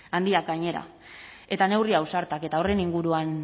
handiak gainera eta neurri ausartak eta horren inguruan